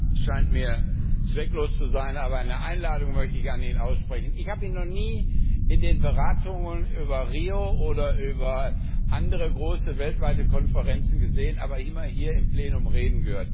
Herr Präsident! Es scheint mir zwecklos zu sein, aber eine Einladung möchte ich an ihn aussprechen. Ich habe ihn noch nie in den Beratungen über Rio oder über andere große weltweite Konferenzen gesehen, aber immer hier im Plenum reden gehört.